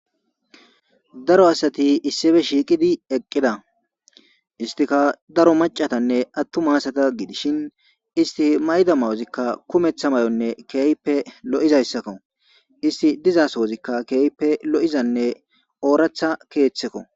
Daaro asti issippe shiqidi eqqida isstikka daaro maccatanne atuma asata giddishin izzeti mayida mayozi kumeththa mayonne kehippe loizzayssako issti diiza sohozika kehippe loizanne oraththa keththeko.